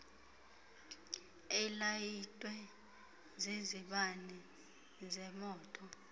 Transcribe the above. ilayitwe zizibane zemoto